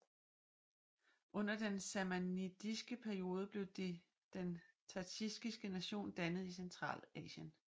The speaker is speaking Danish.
Under den samanidiske periode blev den tadsjikiske nation dannet i Centralasien